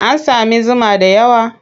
An sami zuma da yawa?